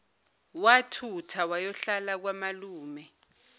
wathutha wayohlala kwamalume